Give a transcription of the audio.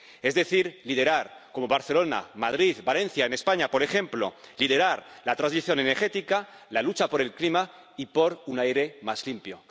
Es decir, liderar, como Barcelona, Madrid o Valencia, en España, por ejemplo, liderar la transición energética, la lucha por el clima y por un aire más limpio.